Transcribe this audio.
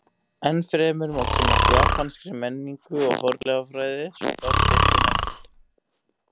Enn fremur má kynnast japanskri menningu og fornleifafræði svo fátt eitt sé nefnt.